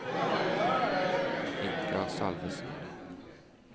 Ingar Salvesen